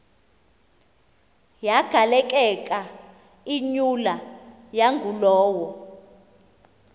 yagaleleka imyula yangulowo